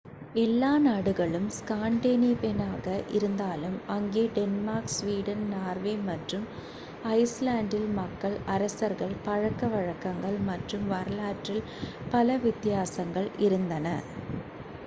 எல்லா நாடுகளும் ஸ்காண்டினேவியனாக இருந்தாலும் அங்கே டென்மார்க் ஸ்வீடன் நார்வே மற்றும் ஐஸ் லாண்ட்டில் மக்கள் அரசர்கள் பழக்க வழக்கங்கள் மற்றும் வரலாற்றில் பல வித்தியாசங்கள் இருந்தன